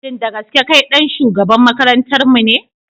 Shin da gaske kai ɗan shugaban makarantarmu ne?